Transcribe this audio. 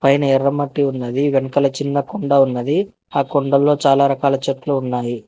పైన ఎర్ర మట్టి ఉన్నది వెనకాల చిన్న కొండ ఉన్నది ఆ కొండల్లో చాలా రకాల చెట్లు ఉన్నాయి.